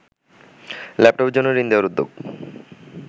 ল্যাপটপের জন্য ঋণ দেয়ার উদ্যোগ